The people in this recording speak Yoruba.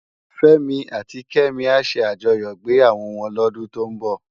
Femi áti Kemi á sé ájòyò igbéyáwò wòn lòdún tó n bò